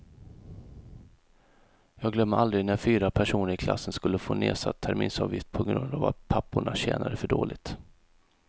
Jag glömmer aldrig när fyra personer i klassen skulle få nedsatt terminsavgift på grund av att papporna tjänade för dåligt.